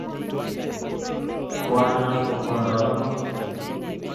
Kwonyon ko kwondap ano?